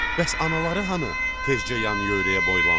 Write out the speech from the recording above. Bəs anaları hanı, tezca yan-yörəyə boylandılar.